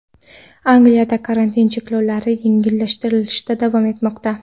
Angliyada karantin cheklovlari yengillashtirilishda davom etmoqda.